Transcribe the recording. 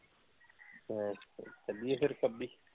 ਫੇਰ ਚੱਲੀਏ ਫ਼ੇਰ ਖੱਬੀ?